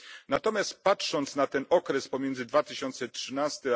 Natomiast patrząc na ten okres pomiędzy 2013